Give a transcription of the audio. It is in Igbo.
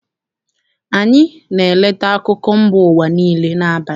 AnyỊ na-eleta akụkọ mba ụwa niile n'abalị.